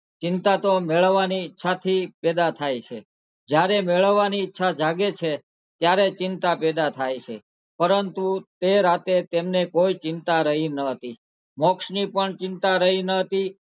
ચિંતા તો મેળવાની ઈચ્છાથી પેદા થાય છે જયારે મેળવાની ઈચ્છા જાગે છે ત્યારે ચિંતા પેદા થાય છે પરંતુ તે રાતે તેમને કોઈ ચિંતા રહી ન હતી મોક્ષની પણ ચિંતા રહી ન હતી.